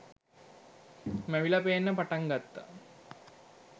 මැවිල පේන්න පටන් ගත්ත